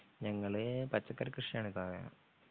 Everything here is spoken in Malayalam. ഞങ്ങള് വള പച്ചക്കറി കൃഷിയാണ് സാറേ